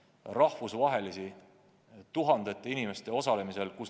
Oleme teinud rahvusvahelisi õppusi tuhandete inimeste osalusel.